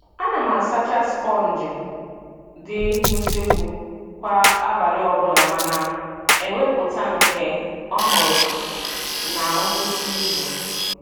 A na m asacha sponji dị n'useekwu kwa abalị ọbụla ma na - ewepụta nke ọhụrụ na nkwụsị izu.